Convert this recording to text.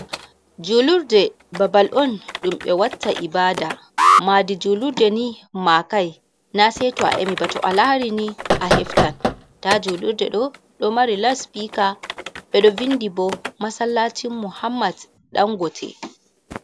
"Julurde" ɓabal on ɗum ɓe watta ibada madi julurde ni makai na seto ayamiba. To alharini a heftan ta julurde ɗo mari lausipika ɓe ɗo vindibo masalatin muhammad dan gote.